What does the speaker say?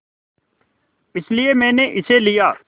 इसलिए मैंने इसे लिया